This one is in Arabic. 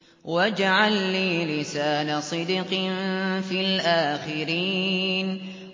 وَاجْعَل لِّي لِسَانَ صِدْقٍ فِي الْآخِرِينَ